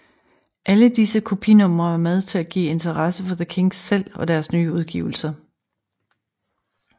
Alle disse kopinumre var med til at give interesse for The Kinks selv og deres nye udgivelser